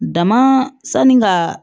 Dama sanni ka